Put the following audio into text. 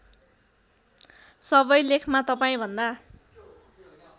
सबै लेखमा तपाईँभन्दा